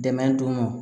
Dɛmɛ don